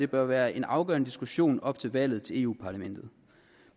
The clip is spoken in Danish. bør være en afgørende diskussion op til valget til europa parlamentet